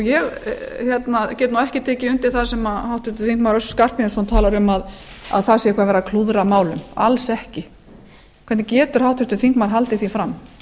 ég get nú ekki tekið undir það sem háttvirtur þingmaður össur skarphéðinsson talar um að það sé eitthvað verið að klúðra málum alls ekki hvernig getur háttvirtur þingmaður haldið því fram hann